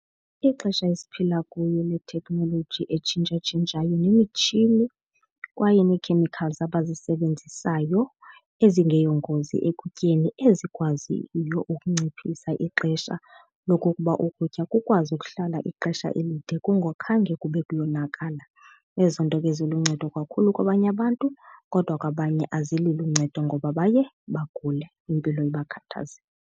Ixesha esiphila kuyo lethekhnoloji etshintshatshintshayo nemitshini kwaye nee-chemicals abazisebenzisayo ezingeyongozi ekutyeni ezikwaziyo ukunciphisa ixesha lokokuba ukutya kukwazi ukuhlala ixesha elide kungakhange kube kuyonakala. Ezo nto ke ziluncedo kakhulu kwabanye abantu kodwa kwabanye azililo uncedo ngoba baye bagule, impilo ibakhathaze.